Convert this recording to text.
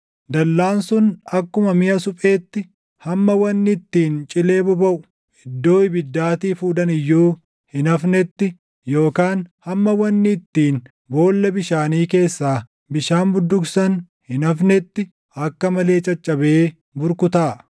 Dallaan sun akkuma miʼa supheetti, hamma wanni ittiin cilee bobaʼu iddoo ibiddaatii fuudhan iyyuu hin hafnetti yookaan hamma wanni ittiin boolla bishaanii keessaa bishaan budduuqsan hin hafnetti akka malee caccabee burkutaaʼa.”